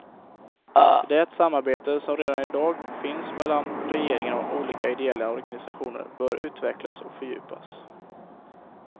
Det samarbete som redan i dag finns mellan regeringen och olika ideella organisationer bör utvecklas och fördjupas.